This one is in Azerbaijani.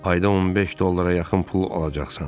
Ayda 15 dollara yaxın pul alacaqsan.